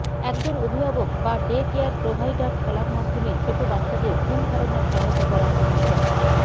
একজন অভিভাবক বা ডে কেয়ার প্রোভাইডার খেলার মাধ্যমে ছোট বাচ্চাদের ভুল ধারণার সহায়তা করার অভিজ্ঞতা